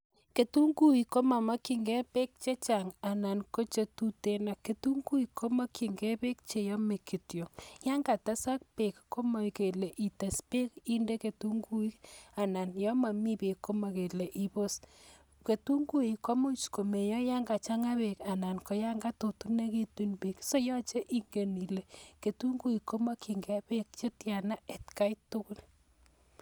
Kitunguiik komamakchin gee peek chechang neaaa mamaeche peeek chechang nea kitunguiik